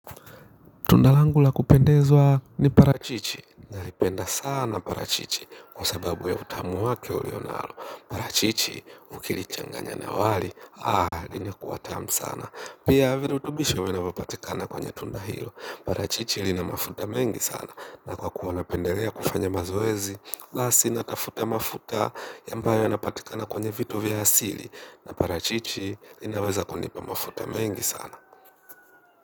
Tunda langu la kupendezwa ni parachichi, naipenda sana parachichi kwa sababu ya utamu wake ulio nalo. Parachichi ukilichanganya na wali linakua tamu sana. Pia, virutubisho vinavo patikana kwenye tunda hilo. Parachichi lina mafuta mengi sana na kwa kuwa napendelea kufanya mazoezi, lasi natafuta mafuta ambayo yanapatikana kwenye vitu vya asili na parachichi linaweza kunipa mafuta mengi sana.